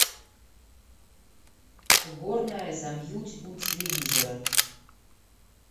уборная замьють у телевизора